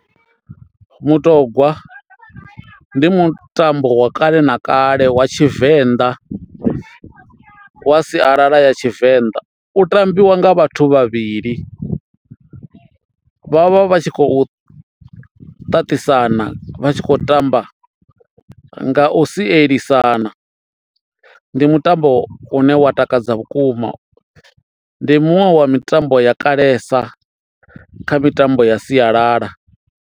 Mutogwa ndi mutambo wa kale na kale wa tshivenḓa wa sialala ya tshivenḓa, u tambiwa nga vhathu vhavhili vha vha vha tshi khou ṱaṱisana vha tshi khou tamba nga u sielisana. Ndi mutambo une wa takadza vhukuma, ndi muṅwe wa mitambo ya kalesa kha mitambo ya sialala.